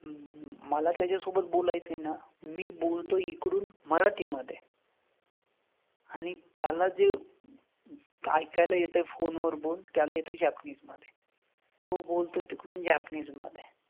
हम्म हम्म हम्म मला त्याच्या सोबत बोलायचं आहे ना मी बोलतोय इकडून मराठी मध्ये आणि त्याला जे ऐकायला येतंय phone वर बोल त्याला येतंय जापनीज मध्ये. तो बोलतोय तिकडून जापनीज मधे.